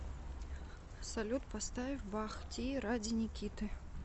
салют поставь бах ти ради никиты